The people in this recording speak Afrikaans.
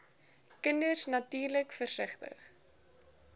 kinders natuurlik versigtig